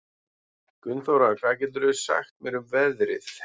Gunnþóra, hvað geturðu sagt mér um veðrið?